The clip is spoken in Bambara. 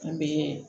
An bɛ